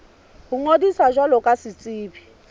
ho ngodisa jwalo ka setsebi